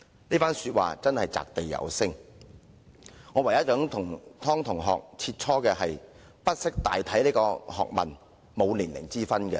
這番說話真是擲地有聲，我唯一想與湯同學切磋的是，不識大體這學問並沒有年齡之分。